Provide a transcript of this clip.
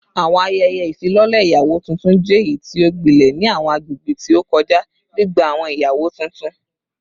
Awọn ayẹyẹ ifilọlẹ iyawo tuntun jẹ eyiti o gbilẹ ni awọn agbegbe ti o kọja, gbigba awọn iyawo tuntun